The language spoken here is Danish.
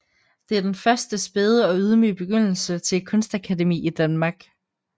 Det er den første spæde og ydmyge begyndelse til et kunstakademi i Danmark